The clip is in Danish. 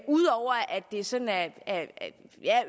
ud over at det sådan er